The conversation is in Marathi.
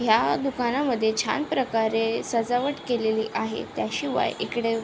ह्या दुकानामध्ये छान प्रकारे सजावट केलेली आहे त्याशिवाय इकडे--